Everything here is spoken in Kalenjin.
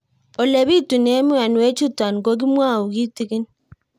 Ole pitune mionwek chutok ko kimwau kitig'ín